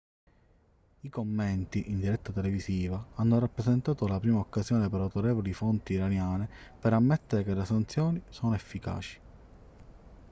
i commenti in diretta televisiva hanno rappresentato la prima occasione per autorevoli fonti iraniane per ammettere che le sanzioni sono efficaci